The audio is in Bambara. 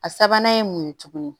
A sabanan ye mun ye tuguni